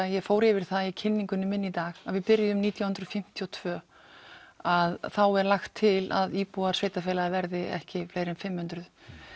ég fór yfir það í kynningunni minni í dag að við byrjuðum nítján hundruð fimmtíu og tvö að þá er lagt til að íbúar sveitarfélaga verði ekki fleiri en fimm hundruð